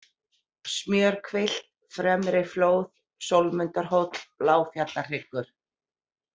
Smjörhvilft, Fremriflóð, Sólmundarhóll, Bláfjallahryggur